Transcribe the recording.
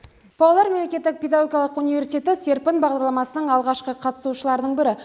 павлодар мемлекеттік педагогикалық университеті серпін бағдарламасының алғашқы қатысушыларының бірі